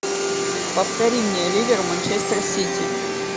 повтори мне ливер манчестер сити